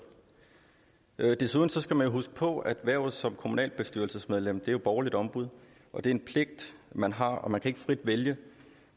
desuden skal man huske på at hvervet som kommunalbestyrelsesmedlem jo er borgerligt ombud det er en pligt man har og man kan ikke frit vælge